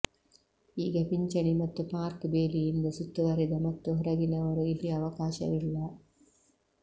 ಈಗ ಪಿಂಚಣಿ ಮತ್ತು ಪಾರ್ಕ್ ಬೇಲಿಯಿಂದ ಸುತ್ತುವರಿದ ಮತ್ತು ಹೊರಗಿನವರು ಇಲ್ಲಿ ಅವಕಾಶವಿಲ್ಲ